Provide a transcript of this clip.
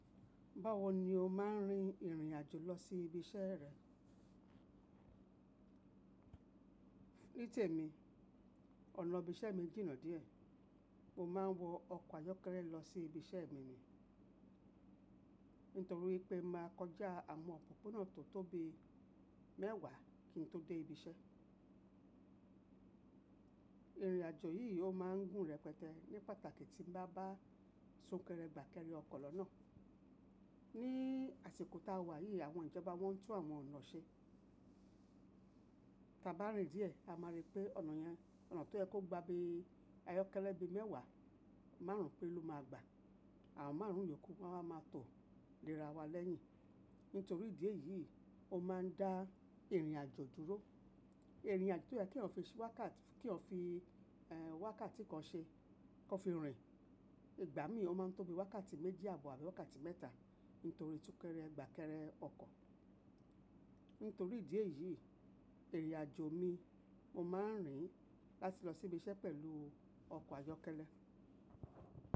Báwo ni o máa ń rin ìrìn àjò lọ sí ibi iṣẹ́ rẹ? Ní tèmi, ọ̀nà ibi iṣẹ́ mi jìnà díẹ̀. Mo máa ń wọ ọkọ̀ ayọ́kẹ́lẹ́ lọ sí ibi iṣẹ́ mi ni. Nítorí wipé màá kọjá àwọn òpópónà tó tóbi mẹ́wàá kí n tó dé ibi iṣẹ́. Ìrìn àjò yìí ó máa ń gùn rẹpẹtẹ ní pàtàkì tí n bá bá sunkerẹ gbà kẹ́rẹ ọkọ̀ lọ́nà. Ní àsìkò tá a wà yìí, àwọn ìjọba wọn tún àwọn ọ̀nà ṣe. Ta bá rìn díẹ̀, a máa rí pé ọ̀nà yẹn, ọ̀nà tó yẹ kó gba bí ayọ́kẹ́lẹ́ bí mẹ́wàá, márùn-ún péré ló máa gbà. Àwọn márùn-ún ìyókù wá n wá maa tọ léra wa lẹ́yìn. Nítorí ìdí èyí, ó máa ń dá ìrìn àjò dúró. Ìrìn àjò tó yẹ́ kí eeyan fi si wakati ki eeyan fi wákàtí kan ṣe kó fi rìn, ìgbà mí ò máa ń tóbi wákàtí méjì àbọ̀ abi wákàtí mẹ́ta nítorí tún kẹ́rẹ̀ gbà kẹ́rẹ ọkọ̀. Nítorí ìdí èyí, ìrìn àjò mi, mo máa ń rìn láti lọ sí ibi iṣẹ́ pẹ̀lú ọkọ̀ ayọ́kẹ́lẹ́.